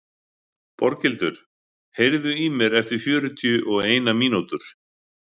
Boghildur, heyrðu í mér eftir fjörutíu og eina mínútur.